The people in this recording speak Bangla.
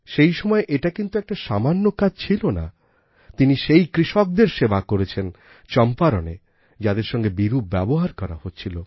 সেই সময়ে এটা কিন্তু একটা সামান্য কাজ ছিল না তিনি সেই কৃষকদের সেবা করেছেন চম্পারণে যাদের সঙ্গে বিরূপ ব্যবহার করা হচ্ছিল